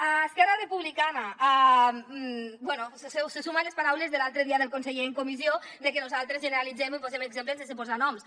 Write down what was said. a esquerra republicana bé se suma a les paraules de l’altre dia del conseller en comissió de que nosaltres generalitzem i posem exemples sense posar noms